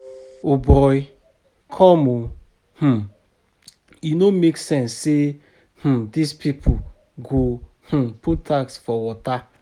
O boy come oo, um e no make sense say um dis people go um put tax for water